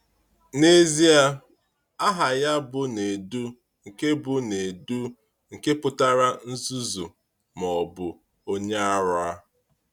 N’ezie, aha ya bụ Nèdù, nke bụ Nèdù, nke pụtara “nzuzu,” ma ọ bụ “onye ara.”